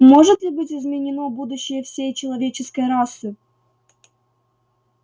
может ли быть изменено будущее всей человеческой расы